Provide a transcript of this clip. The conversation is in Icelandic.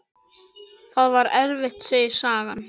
Það var erfitt, segir sagan.